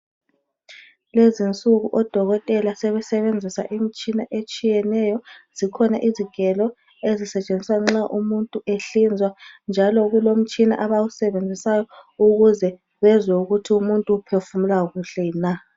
Lezi'nsuku oDokotela sebesenzisa imtshina etshiyeneyo zikhona izigelo ezisetshenziswa nxa umuntu ehlinzwa njalo kulomtshina abawusebenzisayo ukuze bezwe ukuthi umuntu uphefumula kuhle na.